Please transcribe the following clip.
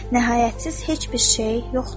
Nəhayətsiz heç bir şey yoxdur.